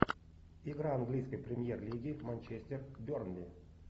игра английской премьер лиги манчестер бернли